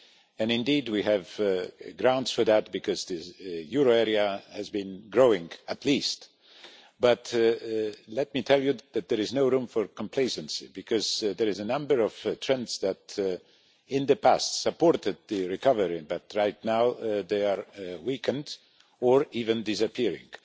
And indeed we have grounds for that because the euro area has been growing, at least. But let me tell you that there is no room for complacency because there are a number of trends that in the past supported the recovery but right now they are weakened or even disappearing.